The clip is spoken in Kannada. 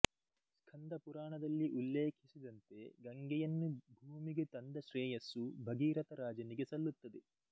ಸ್ಕಂದ ಪುರಾಣದಲ್ಲಿ ಉಲ್ಲೇಖಿಸಿದಂತೆ ಗಂಗೆಯನ್ನು ಭೂಮಿಗೆ ತಂದ ಶ್ರೇಯಸ್ಸು ಭಗೀರಥ ರಾಜನಿಗೆ ಸಲ್ಲುತ್ತದೆ